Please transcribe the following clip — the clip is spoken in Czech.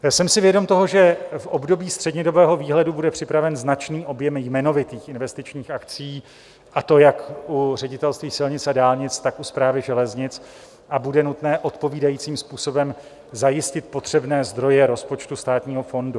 Jsem si vědom toho, že v období střednědobého výhledu bude připraven značný objem jmenovitých investičních akcí, a to jak u Ředitelství silnic a dálnic, tak u Správy železnic, a bude nutné odpovídajícím způsobem zajistit potřebné zdroje rozpočtu Státního fondu.